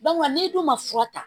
n'e dun ma fura ta